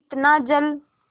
इतना जल